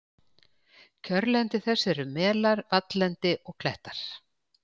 Kjörlendi þess eru melar, valllendi og klettar.